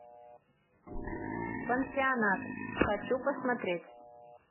пансионат хочу посмотреть